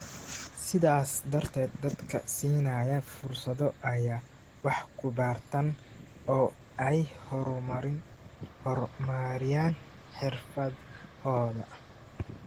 sidaas darteed dadka siinaya fursado ay wax ku bartaan oo ay horumariyaan xirfadahooda.